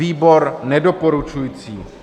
Výbor nedoporučuje.